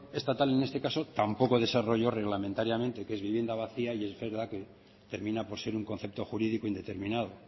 estatal en este caso tampoco desarrolló reglamentariamente qué es vivienda vacía y es verdad que termina por ser un concepto jurídico indeterminado